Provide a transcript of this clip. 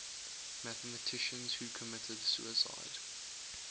mathematicians who committed suicide